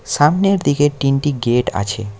সামনের দিকে তিনটি গেট আছে।